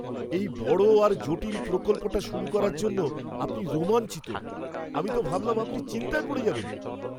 এই বড় আর জটিল প্রকল্পটা শুরু করার জন্য আপনি রোমাঞ্চিত! আমি তো ভাবলাম আপনি চিন্তায় পড়ে যাবেন।